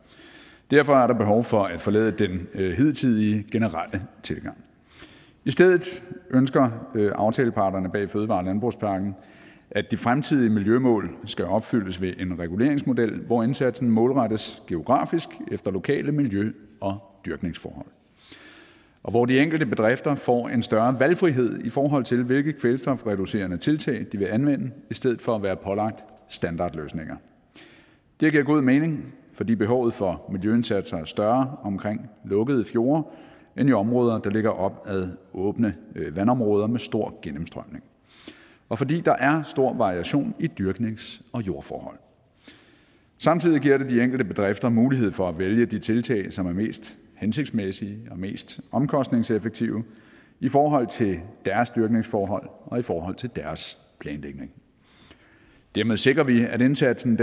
derfor er der behov for at forlade den hidtidige generelle tilgang i stedet ønsker aftaleparterne bag fødevare og landbrugspakken at de fremtidige miljømål skal opfyldes ved en reguleringsmodel hvor indsatsen målrettes geografisk efter lokale miljø og dyrkningsforhold og hvor de enkelte bedrifter får en større valgfrihed i forhold til hvilke kvælstofreducerende tiltag de vil anvende i stedet for at være pålagt standardløsninger det giver god mening fordi behovet for miljøindsatser er større omkring lukkede fjorde end i områder der ligger op ad åbne vandområder med stor gennemstrømning og fordi der er stor variation i dyrknings og jordforhold samtidig giver det de enkelte bedrifter mulighed for at vælge de tiltag som er mest hensigtsmæssige og mest omkostningseffektive i forhold til deres dyrkningsforhold og i forhold til deres planlægning dermed sikrer vi at indsatsen